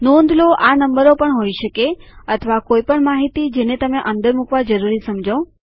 નોંધ લો આ નંબરો પણ હોય શકે અથવા કોઈ પણ માહિતી જેને તમે અંદર મુકવા જરૂરી સમજો